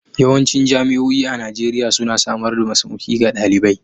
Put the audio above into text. Yawancin jami'o'i a Najeriya suna samar da masauki ga dalibai.